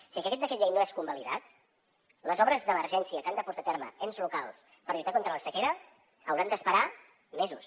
si aquest decret llei no és convalidat les obres d’emergència que han de portar a terme ens locals per lluitar contra la sequera hauran d’esperar mesos